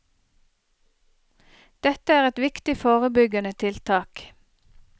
Dette er et viktig forebyggende tiltak.